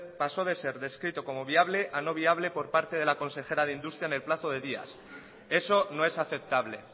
paso de ser descrito como viable a no viable por parte de la consejera de industria en el plazo de días eso no es aceptable